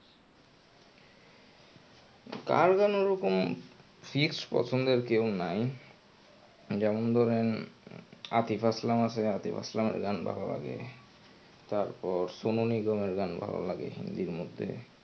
কার গান ওরকম fixed পছন্দের কেউ নাই. যেমন ধরেন আতিফ আসলাম আছে আতিফ আসলামের গান ভালো লাগে, তারপর সোনু নিগমের গান ভালো লাগে হিন্দির মধ্যে.